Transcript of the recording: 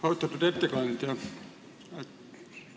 Austatud ettekandja!